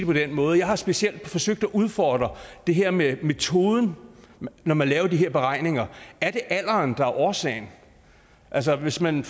på den måde jeg har specielt forsøgt at udfordre det her med metoden når man laver de her beregninger er det alderen der er årsagen altså hvis man